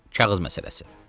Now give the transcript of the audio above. Kağız məsələsi.